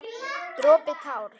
Dropi társ.